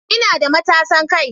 Ina da matasan kai